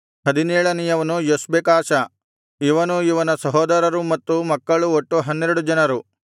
ಹದಿನೇಳನೆಯವನು Joshbekashah ಇವನೂ ಇವನ ಸಹೋದರರೂ ಮತ್ತು ಮಕ್ಕಳು ಒಟ್ಟು ಹನ್ನೆರಡು ಜನರು